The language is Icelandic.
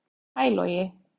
Hæ Logi